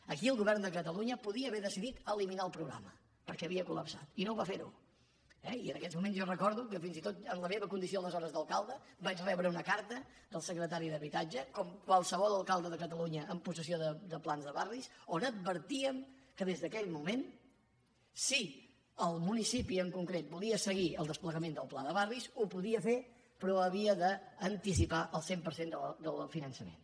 aquí el govern de catalunya podia haver decidit eliminar el programa perquè s’havia colva fer eh i en aquests moments jo recordo que fins i tot en la meva condició aleshores d’alcalde vaig rebre una carta del secretari d’habitatge com qualsevol alcalde de catalunya amb possessió de plans de barris on advertíem que des d’aquell moment si el municipi en concret volia seguir el desplegament del pla de barris ho podia fer però havia d’anticipar el cent per cent del finançament